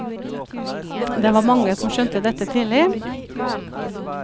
Det var mange som skjønte dette tidlig.